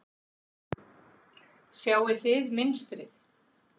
Sjáið þið mynstrið?